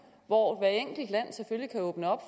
hvor hvert enkelt land selvfølgelig kan åbne